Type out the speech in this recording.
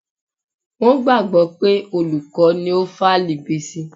Wọ́n gbàgbọ́ pé olùkọ́ ni ó fálì Bísí.